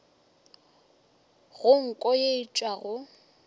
go nko ye e tšwago